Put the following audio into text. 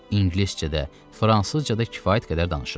İngiliscədə, fransızcada kifayət qədər danışırdı.